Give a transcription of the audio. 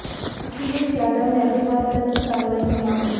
अखिलेश यादव ने अग्रवाल पर की कार्रवाई की मांग